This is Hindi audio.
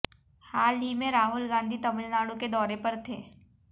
हाल ही में राहुल गांधी तमिलनाडु के दौरे पर थे